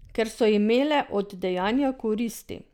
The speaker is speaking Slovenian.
Ker so imele od dejanja koristi.